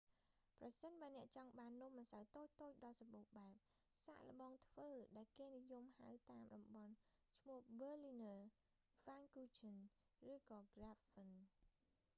ប្រសិនបើអ្នកចង់បាននំម្សៅតូចៗដ៏សម្បូរបែប សាកល្បងធ្វើដែលគេនិយមហៅតាមតំបន់ ឈ្មោះបឺលីនើរ berliner ហ្វានគូឆឹន pfannkuchen ឬក៏ក្រាបហ្វិន krapfen